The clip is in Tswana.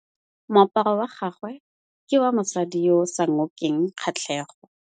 Moaparô wa gagwe ke wa mosadi yo o sa ngôkeng kgatlhegô.